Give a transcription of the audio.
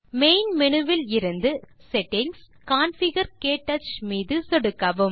main menu விலிருந்து settings தேர்ந்து configure க்டச் மீது சொடுக்கவும்